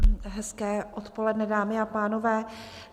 Hezké odpoledne, dámy a pánové.